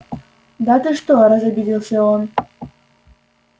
да ты что разобиделся он